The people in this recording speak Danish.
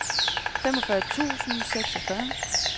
femogfyrre tusind og seksogfyrre